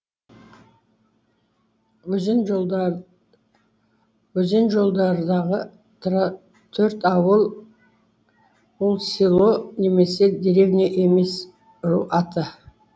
өлең жолдардағы төрт ауыл ол село немесе деревня емес ру аты